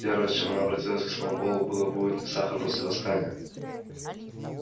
первое с чем она обратилась к сноуболлу было будет ли сахар после восстания